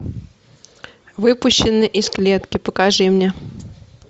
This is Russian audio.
выпущенный из клетки покажи мне